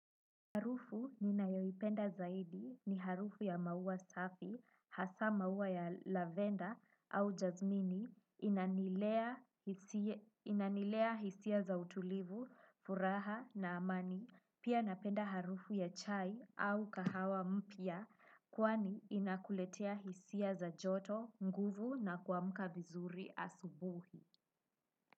Harufu ninayoipenda zaidi ni harufu ya maua safi hasa maua ya lavender au jazmini inanilea inanilea hisia za utulivu, furaha na amani, pia napenda harufu ya chai au kahawa mpya, kwani inakuletea hisia za joto, nguvu na kuamka vizuri asubuhi.